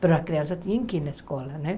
Mas as crianças tinham que ir na escola, né?